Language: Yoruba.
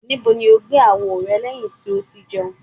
Nibo ni o gbe awo rẹ lẹhin ti o ti jẹun?